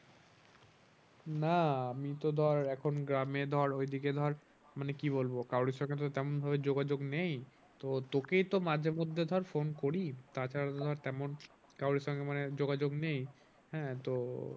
না আমি তো ধর এখন গ্রামে ধর ওই দিকে ধর মানে কি বলবো কারোর সঙ্গে তো তেমন ভাবে যোগাযোগ নেই। তো তোকেই তো মাঝে মধ্যে ধর phone করি তা ছাড়া তো ধর তেমন কারো সঙ্গে মানে যোগাযোগ নেই। হ্যাঁ তো